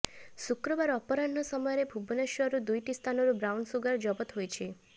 ଶୁକ୍ରବାର ଅପରାହ୍ନ ସମୟରେ ଭୁବନେଶ୍ବରରୁ ଦୁଇଟି ସ୍ଥାନରୁ ବ୍ରାଉନସୁଗାର ଜବତ ହୋଇଛି